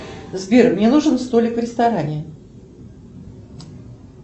сбер мне нужен столик в ресторане